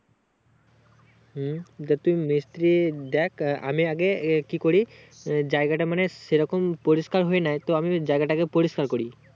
হুম যে তুই মিস্ত্রি দেখ আহ আমি আগে কি এ করি আহ জায়গাটা মানে সেই রকম পরিষ্কার হয়ে নাই তো আমি জায়গাটাকে পরিস্কার করি